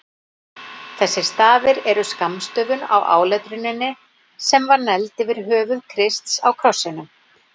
Þessir stafir eru skammstöfun á áletruninni sem var negld yfir höfði Krists á krossinum.